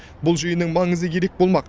бұл жиынның маңызы ерек болмақ